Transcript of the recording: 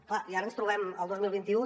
és clar i ara ens trobem al dos mil vint u